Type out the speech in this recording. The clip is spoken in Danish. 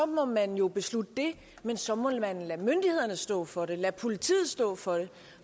må man jo beslutte det men så må man lade myndighederne stå for det lade politiet stå for det